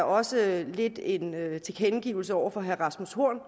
også er lidt en tilkendegivelse over for herre rasmus horn